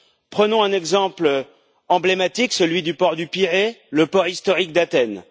Prenons un exemple emblématique celui du port du Pirée, le port historique d'Athènes.